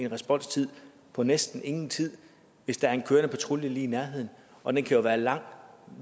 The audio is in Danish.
responstid på næsten ingen tid hvis der er en kørende patrulje lige i nærheden og den kan jo være lang